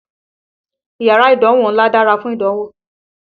Yárà ìdánwó ńlá dárá fún ìdánwò.